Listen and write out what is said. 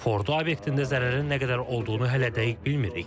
Fordo obyektində zərərin nə qədər olduğunu hələ dəqiq bilmirik.